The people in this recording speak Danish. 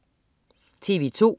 TV2: